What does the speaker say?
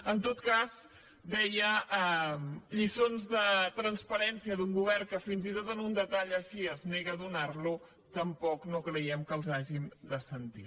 en tot cas deia lliçons de transparència d’un govern que fins i tot un detall així es nega a donar lo tampoc no creiem que les hàgim de sentir